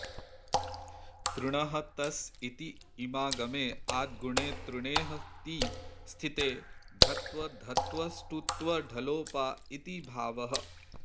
तृणह् तस् इति इमागमे आद्गुणे तृणेह् ति स्थिते ढत्वधत्वष्टुत्वढलोपा इति भावः